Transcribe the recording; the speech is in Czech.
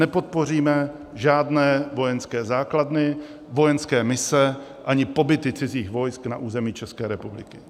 Nepodpoříme žádné vojenské základny, vojenské mise ani pobyty cizích vojsk na území České republiky.